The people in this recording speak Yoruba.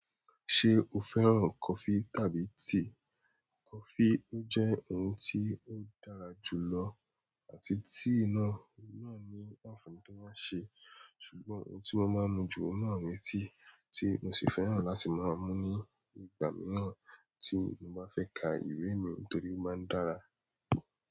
Ṣé o fẹ́ràn kọfí tàbí tíì? Kọfí, ó jẹ́ ohun tí ó dára jù lọ àti tíì náà, náà ní ànfàni to máa ṣe, ṣùgbọ́n ohun tí mo máa ń mu jù ó náà ni tíì, tí mo sì fẹ́ràn láti máa mú ní ìgbà mìíràn tí mo bá fẹ́ ka ìwé mi torí ó máa ń dára.